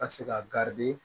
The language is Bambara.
Ka se ka